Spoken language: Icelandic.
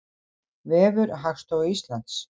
Vefur Hagstofu Íslands.